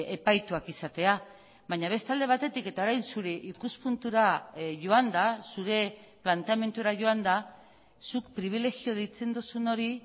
epaituak izatea baina beste alde batetik eta orain zure ikuspuntura joanda zure planteamendura joanda zuk pribilegio deitzen duzun hori